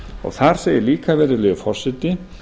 þar segir líka virðulegi forseti